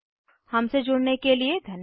हमसे जुड़ने के लिए धन्यवाद